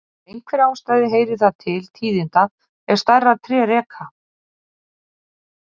Af einhverri ástæðu heyrir það til tíðinda ef stærri tré reka.